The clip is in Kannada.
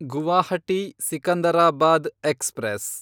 ಗುವಾಹಟಿ ಸಿಕಂದರಾಬಾದ್ ಎಕ್ಸ್‌ಪ್ರೆಸ್